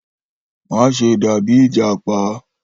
Maṣe dabi ijapa!